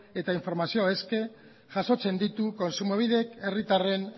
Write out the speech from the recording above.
eta informazioa eske jasotzen ditu kontsumobidek herritarren